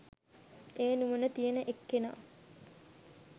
ඒ නුවණ තියෙන එක්කෙනා